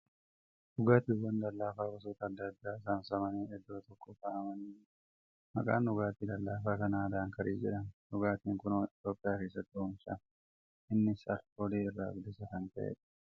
Dhugaatiiwwan lallaafaa gosoota adda addaa saamsamanii iddoo tokko kaa'amanii jiru . Maqaan dhugaatii lallaafaa kanaa ' Daankiiraa ' jedhama . Dhugaatiin kun Itiyoophiyaa keessatti oomishama . Innis alkoolii irraa bilisa kan ta'eedha.